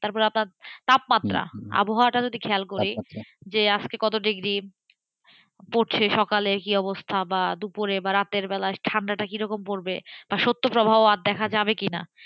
তারপর আপনার তাপমাত্রা আবহাওয়া যদি খেয়াল করি আজকে কত ডিগ্রী পড়ছে বা সকালে কি অবস্থা বা দুপুরে বা রাতের বেলায় ঠান্ডা কেমন পড়বে সত্য প্রভাব দেখা যাবে কিনা?